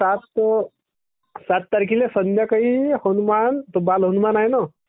सात...सात तारखेच्या संध्याकाळी हनुमाम .... तो बालहनुमान आहे ना....